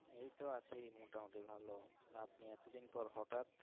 এইতো আছি মোটামুটি ভালো আপনি এত দিন পর হটাৎ।